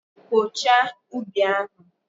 Kpochaa ubi ahụ!